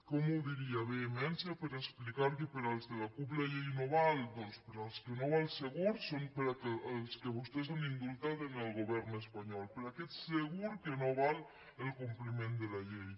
com ho diria vehemència per explicar que per als de la cup la llei no val doncs per als que no val segur són per als que vostès han indultat en el govern espanyol per a aquests segur que no val el compliment de la llei